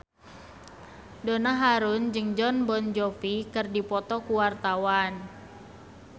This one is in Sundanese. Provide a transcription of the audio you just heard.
Donna Harun jeung Jon Bon Jovi keur dipoto ku wartawan